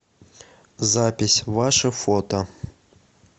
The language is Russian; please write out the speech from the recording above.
запись ваше фото